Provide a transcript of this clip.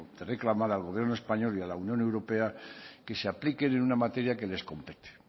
de reclamar al gobierno español y a la unión europea que se apliquen en una materia que les compete